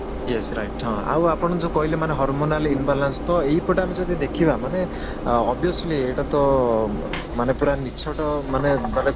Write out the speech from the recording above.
yes right ହଁ ଆଉ ଆପଣ ଯୋଉ କହିଲେ ମାନେ hormonally imbalance ତ ଏଇପଟେ ଆମେ ଯଦି ଦେଖିବା ମାନେ obviously ଏଇଟା ତ ମାନେ ପୁରା ମାନେ